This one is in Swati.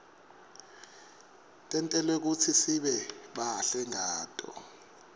tentelwe kutsisibe bahle ngato